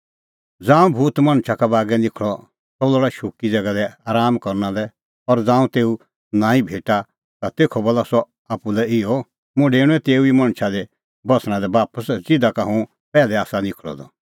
ज़ांऊं भूत मणछा का बागै निखल़ा सह लोल़ा शुक्की ज़ैगा दी राआमा करना लै और ज़ांऊं तेऊ नांईं भेटा ता तेखअ बोला सह आप्पू लै इहअ मुंह डेऊणअ तेऊ ई मणछा दी बस्सणा लै बापस ज़िधा का हुंह पैहलै आसा निखल़अ द